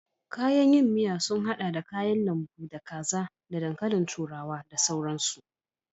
Kayan yin soup sun haɗa da kayan lambu, da kaza ko da dankalin turawa da sauransu.